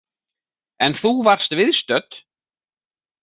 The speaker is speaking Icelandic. En þú varst viðstödd?